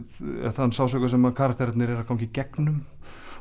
þann sársauka sem karakterarnir eru að ganga í gegnum